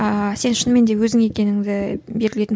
ыыы сен шынымен де өзің екеніңді белгілейтін